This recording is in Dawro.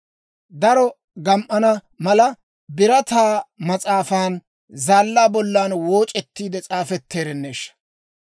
Daro gam"ana mala, birataa marssan zaallaa bollan wooc'ettiide s'aafetteerenneeshsha!